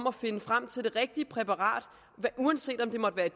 at finde frem til det rigtige præparat uanset om det måtte